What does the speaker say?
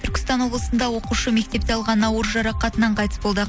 түркістан облысында оқушы мектепте алған ауыр жарақатынан қайтыс болды